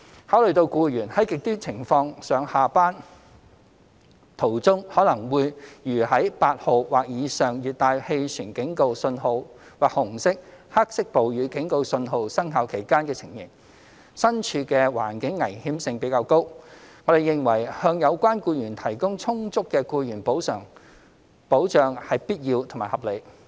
考慮到僱員在"極端情況"下上下班途中可能會如在8號或以上熱帶氣旋警告訊號或紅色/黑色暴雨警告訊號生效期間的情形，身處的環境危險性比較高，我們認為向有關僱員提供充足的僱員補償保障是必要和合理。